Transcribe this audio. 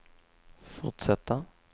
fortsätta